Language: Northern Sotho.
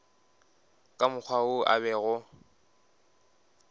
ka mokgwa wo a bego